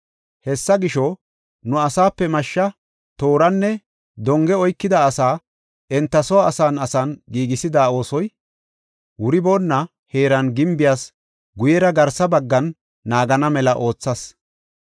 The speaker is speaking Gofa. Hessa gisho, nu asaape mashshe, tooranne donge oykida asaa enta soo asan asan giigisada oosoy wuriboona heeran gimbiyas guyera garsa baggan naagana mela oothas.